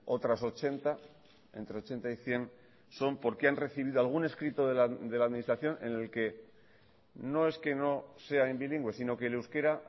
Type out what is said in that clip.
otras ochenta entre ochenta y cien son porque han recibido algún escrito de la administración en el que no es que no sea en bilingüe sino que el euskera